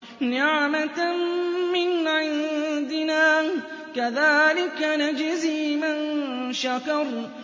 نِّعْمَةً مِّنْ عِندِنَا ۚ كَذَٰلِكَ نَجْزِي مَن شَكَرَ